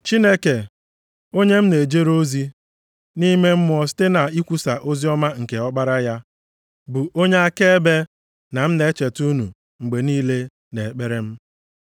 Chineke, onye m na-ejere ozi, nʼime mmụọ site na ikwusa oziọma nke Ọkpara ya, bụ onye akaebe na m na-echeta unu mgbe niile nʼekpere m.